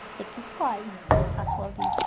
Você que escolhe a sua vida.